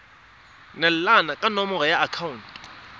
neelana ka nomoro ya akhaonto